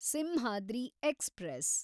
Simhadri express